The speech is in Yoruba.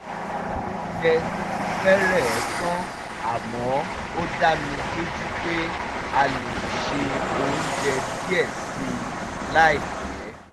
oúnjẹ ti fẹ́rẹ̀ẹ́ tán àmọ́ ó dá mi lójú pé a lè ṣe oúnjẹ díẹ̀ sí i láìpẹ́